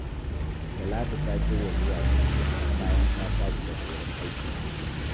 Talatu ta shirya zuwa dubiya, bayan ta tashi daga wurin aiki gobe